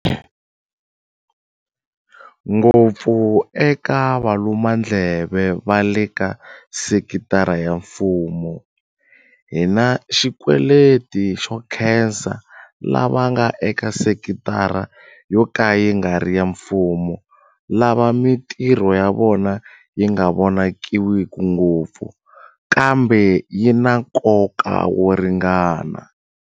Ngopfu eka valumandleve va leka sekitara ya mfumo, hi na xikweleti xo nkhesa lava nga eka sekitara yo ka yi nga ri ya mfumo lava mitirho ya vona yi nga vonakiwiki ngopfu, kambe yi na nkoka wo ringana.